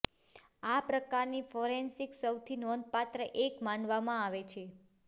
આ પ્રકારની ફોરેન્સિક્સ સૌથી નોંધપાત્ર એક માનવામાં આવે છે